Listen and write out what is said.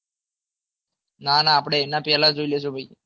નાના ભાઈ આપણે એના પહેલા જોઈ લઈશું ભાઈ